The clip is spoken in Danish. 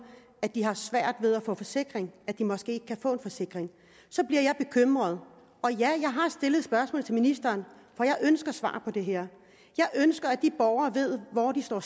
at de har svært ved at få forsikring at de måske ikke kan få en forsikring så bliver jeg bekymret og ja jeg har stillet spørgsmål til ministeren for jeg ønsker svar på det her jeg ønsker at de borgere ved hvor de står